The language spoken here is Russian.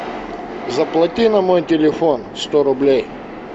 заплати на мой телефон сто рублей